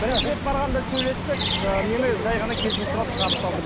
бірінші рет барғанда сөйлестік ы мені жәй ғана кешірім сұрап шығарып салдым